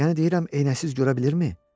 Yəni deyirəm eyənəsiz görə bilirmi?